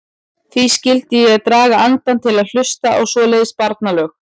Hví skyldi ég draga andann til að hlusta á svoleiðis barnalög.